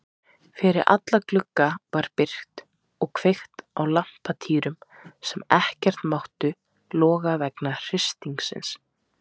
Fyrir alla glugga var byrgt og kveikt á lampatýrum sem ekkert máttu loga vegna hristingsins.